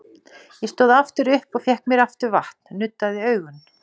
Ég stóð aftur upp og fékk mér aftur vatn, nuddaði augun.